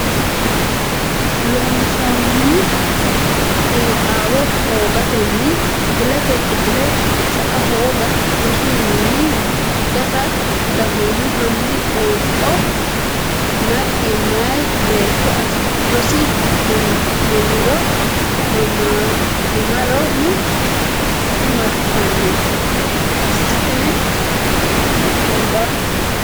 Loossinanni xiinaxaawa hoogatenni kifiletenni kifile sa a hooga rosu mininni gata dagoomu hanni qoonqo naggi meya beetto rosse mamirano dimartanno assitine ki ne nabbabbe.